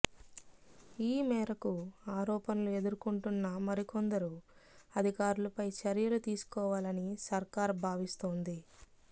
ఈ మేరకు ఆరోపణలు ఎదుర్కొంటున్న మరికొందరు అధికారులపై చర్యలు తీసుకోవాలని సర్కార్ భావిస్తోంది